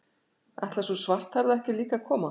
Ætlar sú svarthærða ekki líka að koma?